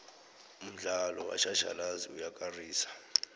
umdlalo wetjhatjhalazi uyakarisa